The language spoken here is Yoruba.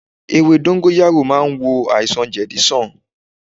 Ewé dóngóyárò màa n wò àìsàn jedi sàn